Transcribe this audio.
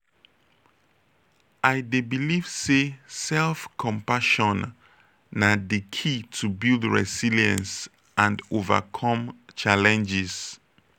i dey believe say self-compassion na di key to build resilience and overcome challenges.